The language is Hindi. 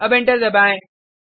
अब एंटर दबाएँ